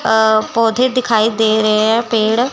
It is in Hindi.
अ पौधे दिखाई दे रहे हैं पेड़